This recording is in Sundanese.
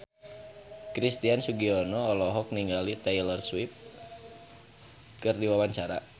Christian Sugiono olohok ningali Taylor Swift keur diwawancara